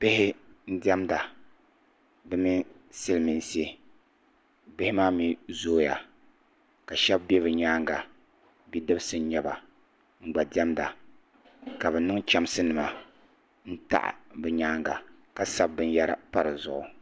Bihi n ɖiɛnda bi mini silmiinsi bihi maa mii zooya ka shab bɛ bi nyaanga bidibsi n nyɛba n gba diʋmda ka bi niŋ chɛmsi nima n taɣi bi nyaanga ka sabi binyɛra pa di zuɣu